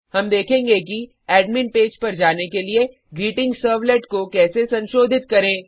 हम देखेंगे कि एडमिन पेज पर जाने के लिए ग्रीटिंगसर्वलेट को कैसे संशोधित करें